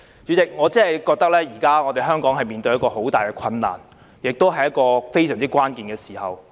主席，我覺得香港現時真的面對很大的困難，亦是處於非常關鍵的時刻。